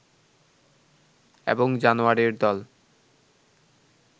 এবং জানোয়ারের দল